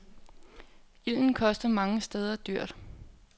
Ilden kostede mange steder dyrt.